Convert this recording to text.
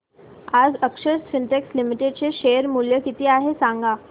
आज अक्षर स्पिनटेक्स लिमिटेड चे शेअर मूल्य किती आहे सांगा